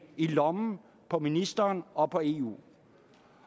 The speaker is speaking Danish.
i lommen på ministeren og på eu